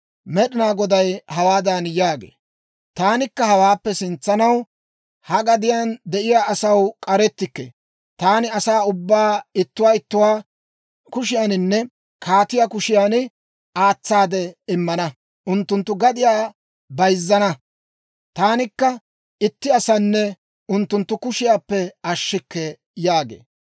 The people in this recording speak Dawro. Med'inaa Goday hawaadan yaagee; «Taanikka hawaappe sintsanaw ha gadiyaan de'iyaa asaw k'arettikke; taani asaa ubbaa ittuwaa ittuwaa kushiyaaninne kaatiyaa kushiyan aatsaade immana. Unttunttu gadiyaa bayizzana; taanikka itti asanne unttunttu kushiyaappe ashshikke» yaagee.